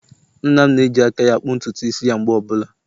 Nna'm na-eji aka ya-akpụ ntutu isi ya mgbe ọbụla.